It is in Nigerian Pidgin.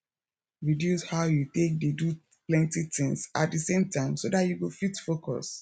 reduce how you take dey do plenty things at di same time so dat you go fit focus